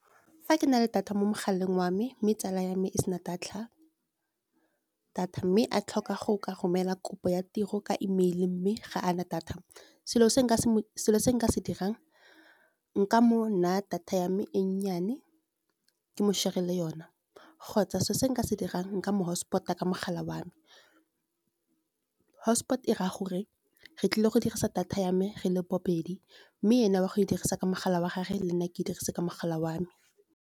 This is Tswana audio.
Fa ke na le data mo mogaleng wa me mme tsala ya me e sena data, mme a tlhoka go ka romela kopo ya tiro ka email mme ga a na data. Selo se se nka se dirang nka mo naya data ya me e nnyane ke mo share-le yona, kgotsa se se nka se dirang nka mo hotspot-a ka mogala wa me. Hotspot e raya gore re tlile go dirisa data ya me re le babedi, mme ene wa go e dirisa ka mogala wa gagwe le nna ke dirise ka mogala wa me.